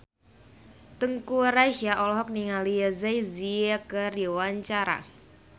Teuku Rassya olohok ningali Jay Z keur diwawancara